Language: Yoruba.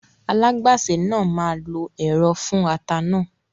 Alágbàsè náà máa lo ẹ̀rọ fún ata náà